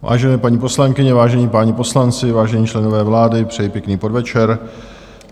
Vážené paní poslankyně, vážení páni poslanci, vážení členové vlády, přeji pěkný podvečer.